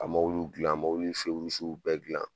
A mɔwuliw dilan mɔwili rusiw bɛɛ dilan